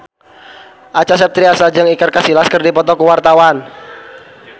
Acha Septriasa jeung Iker Casillas keur dipoto ku wartawan